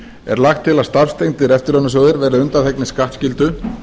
er lagt til að starfstengdir eftirlaunasjóðir verði undanþegnir skattskyldu